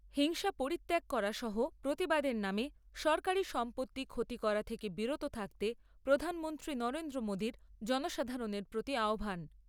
হিংসা পরিত্যাগ করা সহ প্রতিবাদের নামে সরকারী সম্পত্তি ক্ষতি করা থেকে বিরত থাকতে প্রধানমন্ত্রী নরেন্দ্র মোদীর জনসাধারণের প্রতি আহ্বান।